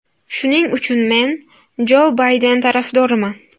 Shuning uchun men Jo Bayden tarafdoriman.